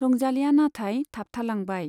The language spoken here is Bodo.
रंजालीया नाथाय थाबथांलांबाय।